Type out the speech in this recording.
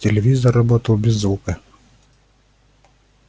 телевизор работал без звука